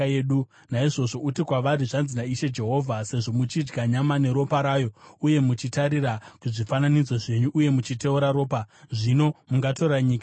Naizvozvo uti kwavari, ‘Zvanzi naIshe Jehovha: Sezvo muchidya nyama neropa rayo uye muchitarira kuzvifananidzo zvenyu uye muchiteura ropa, zvino mungatora nyika here?